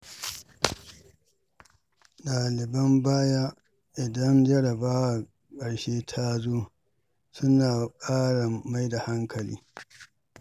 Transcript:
Ɗaliban baya idan jarrabawar ƙarshe tazo suna ƙara mai da hankali.